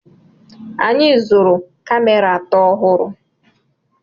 Anyị zụrụ kamera atọ ọhụrụ.